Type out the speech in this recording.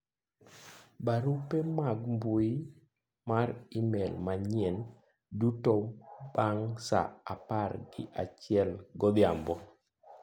barupe mag mbui mar email manyien duto bang' saa apar gi achiel godhiambo